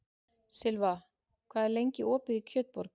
Silfa, hvað er lengi opið í Kjötborg?